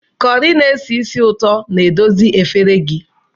Corrie na-esi ísì ụtọ na-edozi efere gị